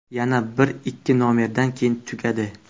Yana bir-ikki nomerdan keyin tugadi.